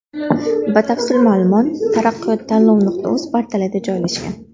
Batafsil ma’lumot taraqqiyot-tanlov.uz portalida joylashgan.